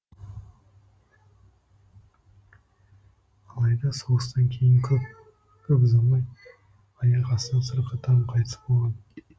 алайда соғыстан кейін көп көп ұзамай аяқ астынан сырқаттанып қайтыс болған